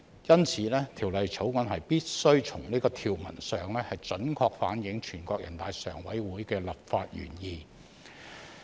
因此，《條例草案》必須從條文上準確反映全國人大常委會的立法原意。